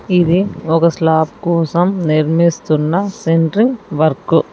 ఇది ఒక స్లాప్ కోసం నిర్మిస్తున్న సెంట్రింగ్ వర్కు .